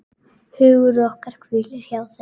Hugur okkar hvílir hjá þeim.